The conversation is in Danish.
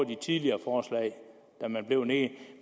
det tidligere forslag da man blev nede